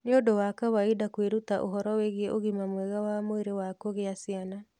Nĩ ũndũ wa kawaida kwĩruta ũhoro wĩgiĩ ũgima mwega wa mwĩrĩ wa kũgĩa ciana.